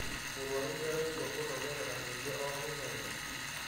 Mũrwaru nĩaraigua kũnogerera kũingĩ o mũthenya